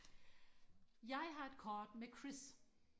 jeg har et kort med Chris